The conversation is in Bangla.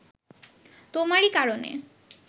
তোমারই কারণে